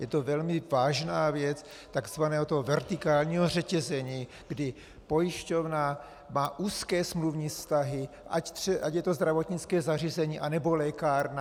Je to velmi vážná věc tzv. vertikálního řetězení, kdy pojišťovna má úzké smluvní vztahy, ať je to zdravotnické zařízení, anebo lékárna.